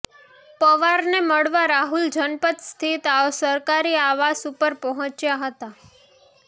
પવારને મળવા રાહુલ જનપથ સ્થિત સરકારી આવાસ ઉપર પહોંચ્યા હતા